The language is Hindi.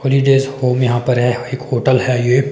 होलीडेज होम यहां पर है एक होटल है ये।